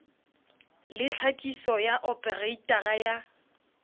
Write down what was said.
le tlhakiso ya opareitara ya